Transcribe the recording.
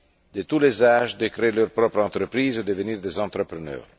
de tous les âges à créer leur propre entreprise et à devenir des entrepreneurs.